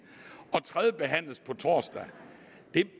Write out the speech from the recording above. og tredjebehandles på torsdag